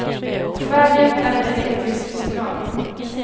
På vägen är den en elektrisk signal.